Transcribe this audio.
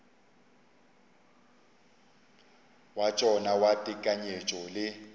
wa tšona wa tekanyetšo le